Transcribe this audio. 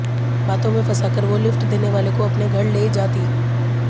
बातों में फंसाकर वो लिफ्ट देने वाले को अपने घर ले जा थी